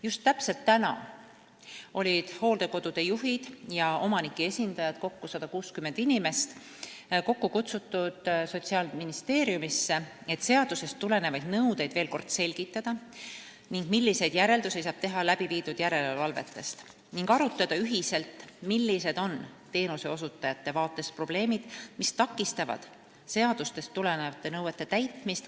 Just täna olid hooldekodude juhid ja omanike esindajad, kokku 160 inimest, kutsutud Sotsiaalministeeriumisse, et seadusest tulenevaid nõudeid veel kord selgitada ning arutada, milliseid järeldusi saab järelevalve põhjal teha ja millised on teenuseosutajate seisukohast probleemid, mis takistavad seadustest tulenevate nõuete täitmist.